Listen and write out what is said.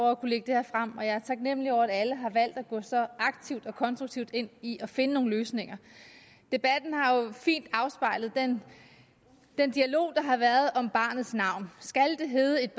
at kunne lægge det her frem og jeg er taknemlig over at alle har valgt at gå så aktivt og konstruktivt ind i at finde nogle løsninger debatten har jo fint afspejlet den dialog der har været om barnets navn skal det hedde et